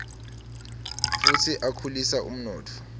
futsi akhulisa umnotfo